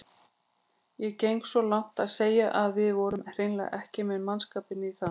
Ég geng svo langt að segja að við vorum hreinlega ekki með mannskapinn í það.